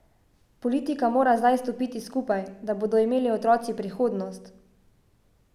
Politika mora zdaj stopiti skupaj, da bodo imeli otroci prihodnost.